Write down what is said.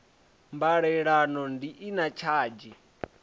mbalelano bi i na tshadzhi